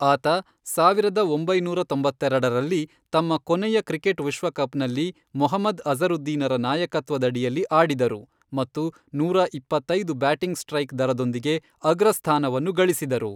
ಆತ ಸಾವಿರದ ಒಂಬೈನೂರ ತೊಂಬತ್ತೆರೆಡರಲ್ಲಿ, ತಮ್ಮ ಕೊನೆಯ ಕ್ರಿಕೆಟ್ ವಿಶ್ವಕಪ್ನಲ್ಲಿ ಮೊಹಮ್ಮದ್ ಅಜ಼ರುದ್ದೀನರ ನಾಯಕತ್ವದಡಿಯಲ್ಲಿ ಆಡಿದರು ಮತ್ತು ನೂರಾ ಇಪ್ಪತ್ತೈದು ಬ್ಯಾಟಿಂಗ್ ಸ್ಟ್ರೈಕ್ ದರದೊಂದಿಗೆ ಅಗ್ರಸ್ಥಾನವನ್ನು ಗಳಿಸಿದರು.